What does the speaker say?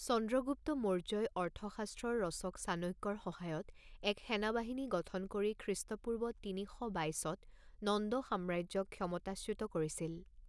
চন্দ্ৰগুপ্ত মৌৰ্য্যই অৰ্থশাস্ত্ৰৰ ৰচক চাণক্যৰ সহায়ত এক সেনাবাহিনী গঠন কৰি খ্ৰীষ্টপূৰ্ব তিনি শ বাইছত নন্দ সাম্ৰাজ্যক ক্ষমতাচ্যুত কৰিছিল।